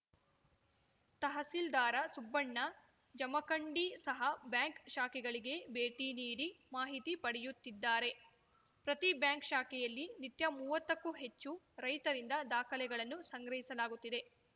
ತಹಸೀಲ್ದಾರ ಸುಬ್ಬಣ್ಣ ಜಮಖಂಡಿ ಸಹ ಬ್ಯಾಂಕ್‌ ಶಾಖೆಗಳಿಗೆ ಭೇಟಿ ನೀಡಿ ಮಾಹಿತಿ ಪಡೆಯುತ್ತಿದ್ದಾರೆ ಪ್ರತಿ ಬ್ಯಾಂಕ್‌ ಶಾಖೆಯಲ್ಲಿ ನಿತ್ಯ ಮೂವತ್ತಕ್ಕೂ ಹೆಚ್ಚು ರೈತರಿಂದ ದಾಖಲೆಗಳನ್ನು ಸಂಗ್ರಹಿಸಲಾಗುತ್ತಿದೆ